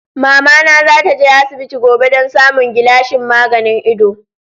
Mamana za ta je asibiti gobe domin samun gilashin maganin ido.